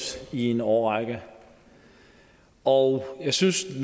i en årrække og jeg synes